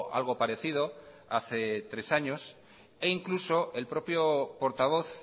algo parecido hace tres años e incluso el propio portavoz